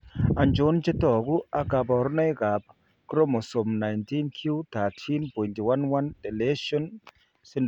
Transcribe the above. Achon chetogu ak kaborunoik ab Chromosome 19q13.11 deletion syndrome?